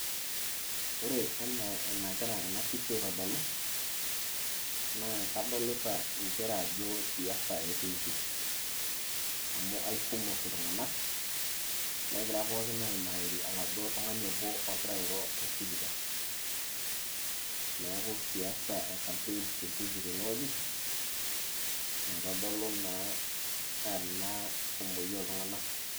ore anaa enagira ena pisha aitodolu, naa kadolita nchere ajo siasa etiiki. amu aikumok iltunganak, negira pooki aimariri oladuo tung'ani obo ogira airo tosipika, neeku siasa e campaigns etiiki tene wueji eitodolu naa ena kumoi ooltunganak.